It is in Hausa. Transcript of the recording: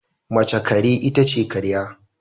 Mace kare itace karya